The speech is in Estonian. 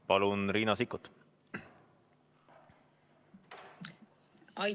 Palun, Riina Sikkut!